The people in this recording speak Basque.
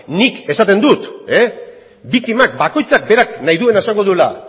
nik esaten dut biktima bakoitzak berak nahi duena esango duela